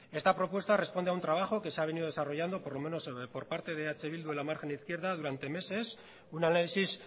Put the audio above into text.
esta propuesta responde a un trabajo que se ha venido desarrollando por lo menos por parte de eh bildu en la margen izquierda durante meses un análisis